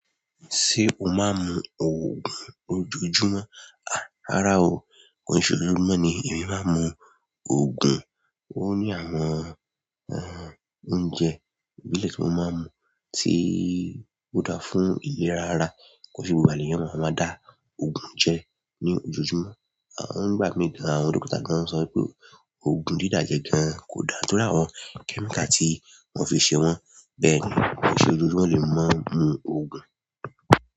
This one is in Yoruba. Ṣé o máa ń mu òògùn ojoojúmọ́? Àrá o, kànṣó ojoojúmọ́ ni èmi máa ń mu òògùn. Ó ní àwọn oúnjẹ ìbílẹ̀ tí mo máa ń mu tí ó dáa fún ìlera ara kànṣé gbogbo ènìyàn máa ń dá òògùn jẹ ní ojoojúmọ́. Àwọn ń gba mi dáhù, àwọn dókítà náà sọ pé òògùn dídá jẹ gan kò dáa nítorí àwọn kẹ́míkà tí wọ́n fi ṣe wọ́n. Bẹ́ẹ̀ni, kànṣó ojoojúmọ́ lè máa mu òògùn.